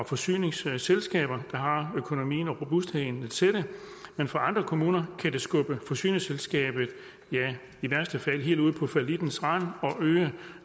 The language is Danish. forsyningsselskaber der har økonomien og robustheden til det men for andre kommuner kan det skubbe forsyningsselskabet helt ud på fallittens rand og øge